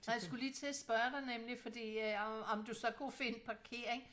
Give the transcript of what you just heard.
Nej jeg skulle lige til at spørge dig nemlig fordi øh om du så kunne finde parkering?